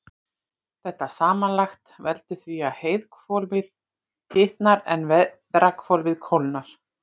Þetta samanlagt veldur því að heiðhvolfið hitnar en veðrahvolfið kólnar.